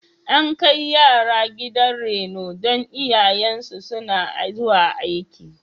An kai yara gidan reno don iyayensu suna zuwa aiki.